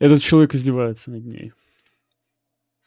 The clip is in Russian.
этот человек издевается над ней